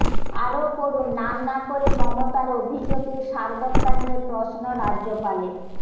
আরও পড়ুন নাম না করে মমতার অভিযোগের সারবত্তা নিয়ে প্রশ্ন রাজ্যপালের